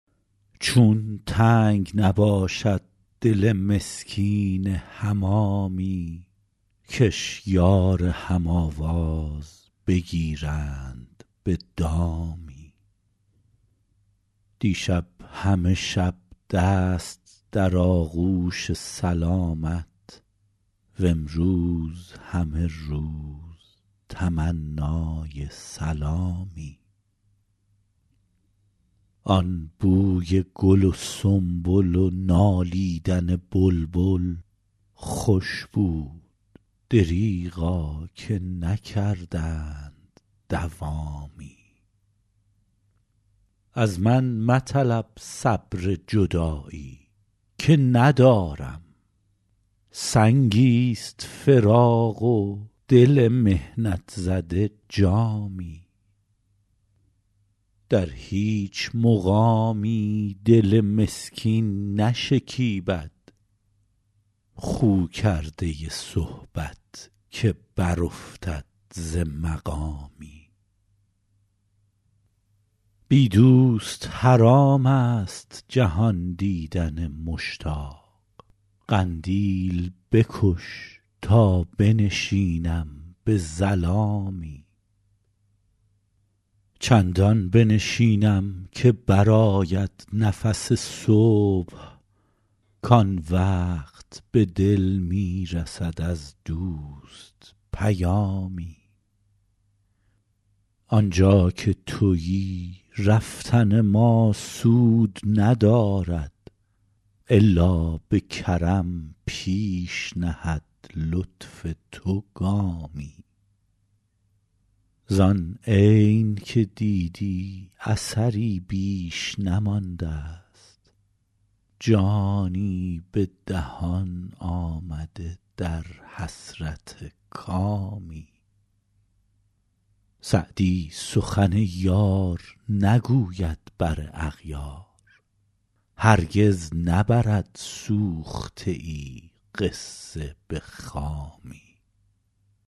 چون تنگ نباشد دل مسکین حمامی کش یار هم آواز بگیرند به دامی دیشب همه شب دست در آغوش سلامت وامروز همه روز تمنای سلامی آن بوی گل و سنبل و نالیدن بلبل خوش بود دریغا که نکردند دوامی از من مطلب صبر جدایی که ندارم سنگی ست فراق و دل محنت زده جامی در هیچ مقامی دل مسکین نشکیبد خو کرده صحبت که برافتد ز مقامی بی دوست حرام است جهان دیدن مشتاق قندیل بکش تا بنشینم به ظلامی چندان بنشینم که برآید نفس صبح کآن وقت به دل می رسد از دوست پیامی آن جا که تویی رفتن ما سود ندارد الا به کرم پیش نهد لطف تو گامی زآن عین که دیدی اثری بیش نمانده ست جانی به دهان آمده در حسرت کامی سعدی سخن یار نگوید بر اغیار هرگز نبرد سوخته ای قصه به خامی